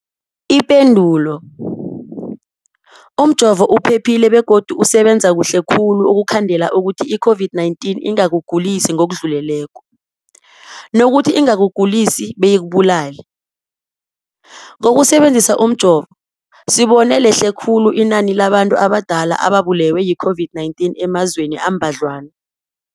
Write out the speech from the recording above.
Ipendulo, umjovo uphephile begodu usebenza kuhle khulu ukukhandela ukuthi i-COVID-19 ingakugulisi ngokudluleleko, nokuthi ingakugulisi beyikubulale. Ngokusebe nzisa umjovo, sibone lehle khulu inani labantu abadala ababulewe yi-COVID-19 emazweni ambadlwana.